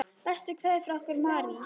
Bestu kveðjur frá okkur Marie.